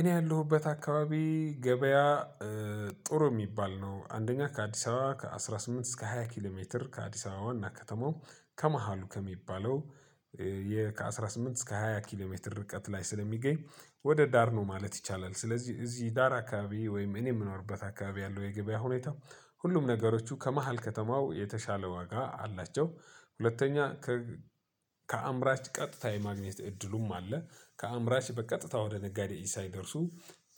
እኔ ያለሁበት አካባቢ ገበያ። ጥሩ የሚባል ነው አንደኛ ከአዲስ አበባ ከአስራ ስምንት እስከ ሃያ ኪሎ ሜትር ከአዲስ አበባዋና ከተማው ከመሃሉ ከሚባለው። ከአስራ ስምንት እስከ ሃያ ኪሎ ሜትር ርቀት ላይ ስለሚገኝ ወደ ዳር ነው ማለት ይቻላል። ስለዚህ እዚህ ዳር አካባቢ ወይም እኔ የምኖርበት አካባቢ ያለው የገበያ ሁኔታ ሁሉም ነገሮቹ ከመሃል ከተማው የተሻለ ዋጋ አላቸው። ሁለተኛ ከአምራች ቀጥታ የማግኘት እድሉም አለ። ከአምራች በቀጥታ ወደ ነጋዴ ኢሳይ ደርሱ።